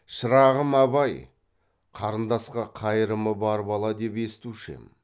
шырағым абай қарындасқа қайырымы бар бала деп естушем